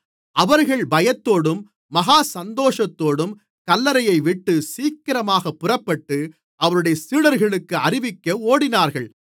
அவர்கள் பயத்தோடும் மகா சந்தோஷத்தோடும் கல்லறையைவிட்டுச் சீக்கிரமாகப் புறப்பட்டு அவருடைய சீடர்களுக்கு அறிவிக்க ஓடினார்கள்